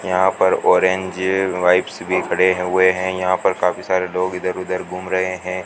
यहां पर orange wipes भी खड़े हुए हैं यहां पर काफी सारे लोग इधर उधर घूम रहे हैं।